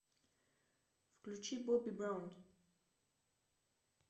включи бобби браун